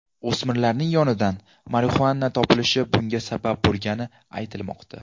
O‘smirning yonidan marixuana topilishi bunga sabab bo‘lgani aytilmoqda.